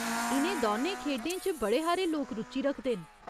इ'नें दौनें खेढें च बड़े हारे लोक रुचि रखदे न।